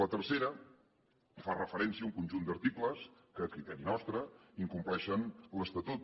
la tercera fa referència a un conjunt d’articles que a criteri nostre incompleixen l’estatut